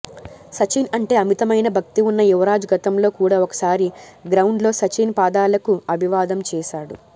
సచిన్ అంటే అమితమైన భక్తి ఉన్న యువరాజ్ గతంలో కూడా ఒకసారి గ్రౌండ్ లో సచిన్ పాదాలకు అభివాదం చేశాడు